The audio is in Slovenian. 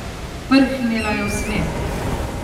Prhnila je v smeh.